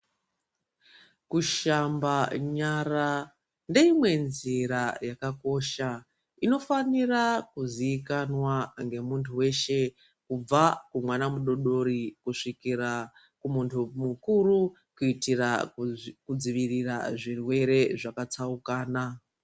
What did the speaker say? Kushamba nyara ndeimwe nzira yakakosha inofanira kuziikanwa ngemuntu weshe kubva kumwana mudodori kusvikira kumuntu mukuru kuitira kudzivirira zvirwere zvakasiyana-siyana.